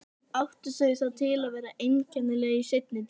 Þau áttu það til að vera einkennileg í seinni tíð.